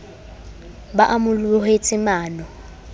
be a mo lohetse mano